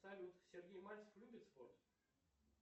салют сергей мальцев любит спорт